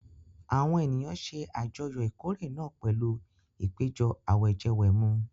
Àwọn ènìyàn ṣe àjọyọ̀ ìkórè náà pẹ̀lú ìpéjọ àwẹ̀jẹwẹ̀mu.